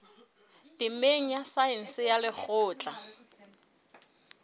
temeng ya saense ya lekgotleng